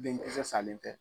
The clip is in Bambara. Denkisɛ salen fɛ.